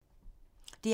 DR P2